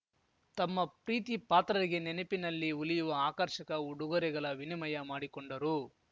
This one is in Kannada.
ತಮ್ಮ ಪ್ರೀತಿಪಾತ್ರರಿಗೆ ನೆನಪಿನಲ್ಲಿ ಉಲಿಯುವ ಆಕರ್ಷಕ ಉಡುಗೊರೆಗಲ ವಿನಿಮಯ ಮಾಡಿಕೊಂಡರು